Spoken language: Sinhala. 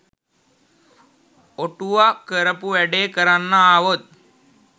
ඔටුව කරපු වැඩේ කරන්න ආවොත්